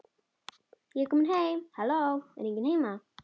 Ég er komin heim halló, er enginn heima?